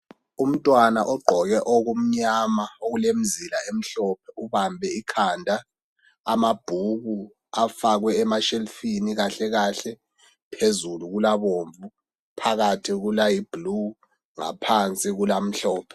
Umntwana ogqoke okumnyama okulemizila emhlophe ubambe ikhanda. Amabhuku afakwe emashelufini kahlekahle. Phezulu kulabombu, phakathi kulayibhulu ngaphansi kulamhlophe.